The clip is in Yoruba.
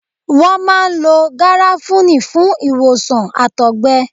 Wọ́n máa ń lo Gàràfúní fún ìwòsàn Àtọ̀gbẹ.